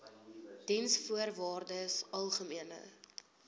diensvoorwaardesalgemene